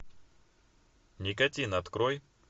никотин открой